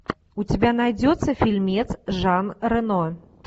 у тебя найдется фильмец жан рено